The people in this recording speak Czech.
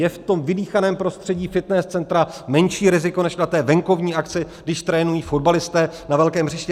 Je v tom vydýchaném prostředí fitness centra menší riziko než na té venkovní akci, když trénují fotbalisté na velkém hřišti?